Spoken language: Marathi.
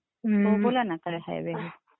हां बोला ना काय हवे?